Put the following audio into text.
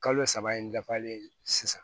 Kalo saba in dafalen sisan